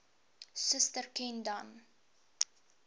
suster ken dan